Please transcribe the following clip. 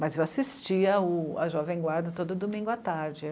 Mas eu assistia à Jovem Guarda todo domingo à tarde.